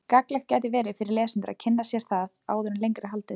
Gagnlegt gæti verið fyrir lesendur að kynna sér það áður en lengra er haldið.